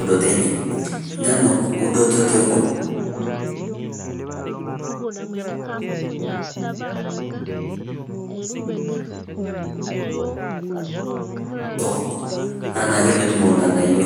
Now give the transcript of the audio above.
udoto enye. Nenuk udoto anaa ake metumo ilng'anaiyo.